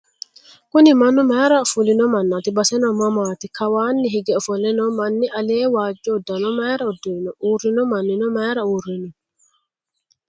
Kuni mannu mayiira fulino mannaati? Baseno mamaati? Kawaa hige ofolle noo manni alee waajjo uddanno mayiira uddirino? Uurrino mannino mayiira uurrino?